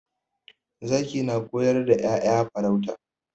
Zaki na koyar da 'ya'ya farauta.